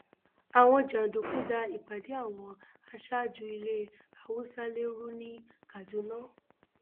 àwọn jàǹdùkú da ìpàdé àwọn aṣáájú ilé haúsálẹ rú ní kaduna